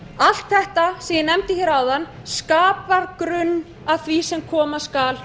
allt þetta sem ég nefndi áðan skapar grunn að því sem koma skal